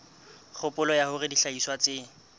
kgopolo ya hore dihlahiswa tse